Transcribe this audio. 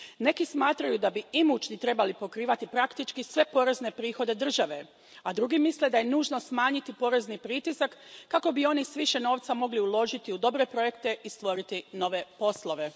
Neki smatraju da bi imućni trebali pokrivati praktički sve porezne prihode države, a drugi misle da je nužno smanjiti porezni pritisak kako bi oni s više novca mogli uložiti u dobre projekte i stvoriti nove poslove.